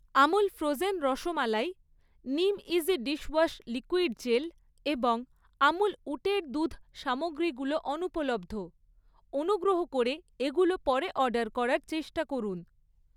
Amul frozen rasmalai, নিমইজি dishwash liquid gel এবং আমুল উটের দুধ সামগ্রীগুলো অনুপলব্ধ, অনুগ্রহ করে এগুলো পরে অর্ডার করার চেষ্টা করুন